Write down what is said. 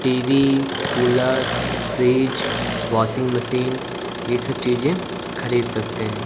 TV cooler fridge washing machine ये सब चीजे खरीद सकते है।